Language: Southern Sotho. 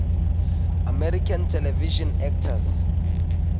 american television actors